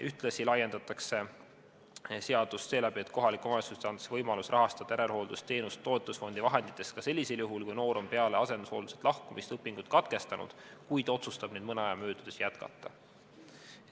Ühtlasi laiendatakse seadust seeläbi, et kohalikele omavalitsustele antakse võimalus rahastada järelhooldusteenust toetusfondi vahenditest ka sellisel juhul, kui noor on peale asendushoolduselt lahkumist õpingud katkestanud, kuid otsustab neid mõne aja möödudes jätkata.